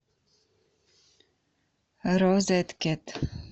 розеткед